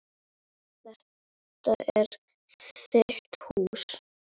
Þetta er þitt hús.